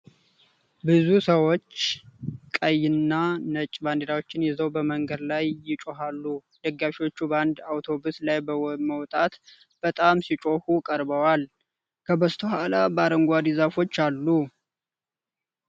ብዙ ሰዎች ቀይና ነጭ ባንዲራዎችን ይዘው በመንገድ ላይ ይጮኻሉ፡፡ ደጋፊዎቹ በአንድ አውቶቡስ ላይ በመውጣት በጣም ሲጮሁ ቀርበዋል፡፡ ከበስተኋላው በአረንጓዴ ዛፎች አሉ፡፡